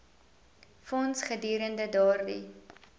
fonds gedurende daardie